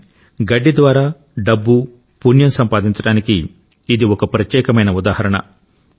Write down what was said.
కాని గడ్డి ద్వారా డబ్బు పుణ్యం సంపాదించడానికి ఇది ఒక ప్రత్యేకమైన ఉదాహరణ